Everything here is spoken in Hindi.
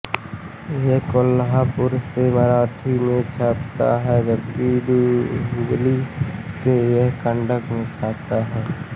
यह कोल्हापुर से मराठी में छपता है जबकि हुबली से यह कन्नड में छपता है